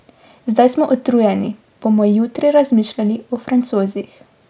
Zdaj smo utrujeni, bomo jutri razmišljali o Francozih.